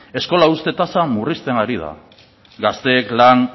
eskola uzte tasa murrizten ari da gazteek